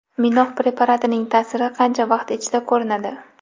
Minox preparatining ta’siri qancha vaqt ichida ko‘rinadi?